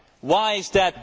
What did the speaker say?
Why is that?